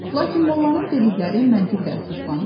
Lakin mollanın dedikləri məntiqdə əsaslandırılır.